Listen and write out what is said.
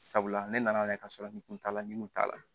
Sabula ne nana ka sɔrɔ n kun t'a la nin kun t'a la